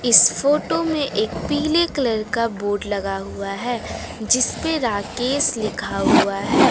इस फोटो में पीले कलर का बोर्ड लगा हुआ है जिसपे राकेश लिखा हुआ है।